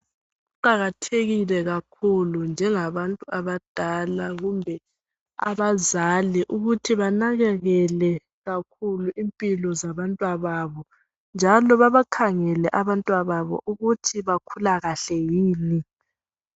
Kuqakathekile kakhulu njengabantu abadala kumbe abazali ukuthi banakekele kakhulu impilo zabantwababo njalo babakhangele abantwababo ukuthi bakhula kahle yini.